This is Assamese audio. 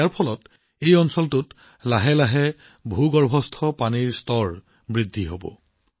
ইয়াৰ ফলত অঞ্চলটোৰ ভূগৰ্ভস্থ পানী ক্ৰমান্বয়ে উন্নত হব